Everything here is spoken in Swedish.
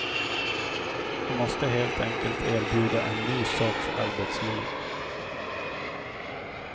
Vi måste helt enkelt erbjuda en ny sorts arbetsliv.